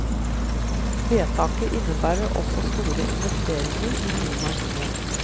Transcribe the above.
Vedtaket innebærer også store investeringer i nye maskiner.